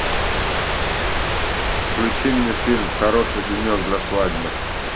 включи мне фильм хороший денек для свадьбы